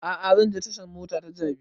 A'a zan je tashan mota ta jabi